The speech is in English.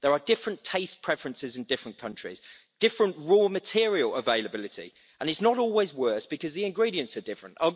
there are different taste preferences in different countries, different raw material availability, and it is not always worse because the ingredients are different.